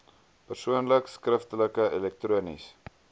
persoonlik skriftelik elektronies